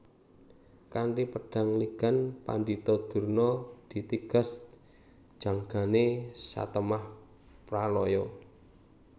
Kanthi pedang ligan Pandhita Durna ditigas janggane satemah pralaya